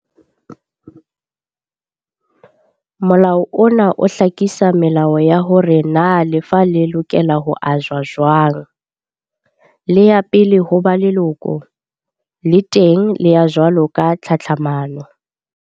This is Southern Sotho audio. Molao ona o hlakisa melao ya hore na lefa le lokela ho ajwa jwang. Le ya pele ho ba lekolo, le teng le ya jwalo ka tlhatlhamano.